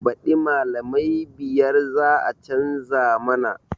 Baɗi malamai biyar za a canza mana